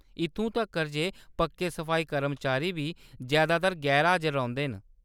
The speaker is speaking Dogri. इत्थूं तक्कर ​​जे पक्के सफाई कर्मचारी बी जैदातर गैर-हाजर रौंह्‌‌‌दे न।